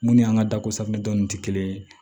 Mun ni an ka dako safunɛ dɔɔni tɛ kelen ye